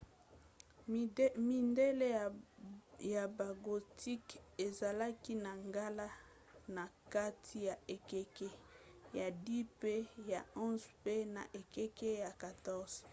midele ya bagothique ezalaki na ngala na kati ya ekeke ya 10 mpe ya 11 mpe na ekeke ya 14